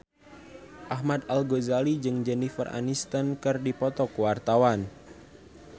Ahmad Al-Ghazali jeung Jennifer Aniston keur dipoto ku wartawan